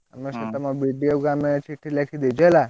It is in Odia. ଆମେ ସେ ତମ BDO କୁ ଆମେ ଚିଠି ଲେଖିଦେଇଛୁ ହେଲା।